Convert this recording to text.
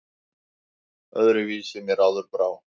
Öðru vísi mér áður brá!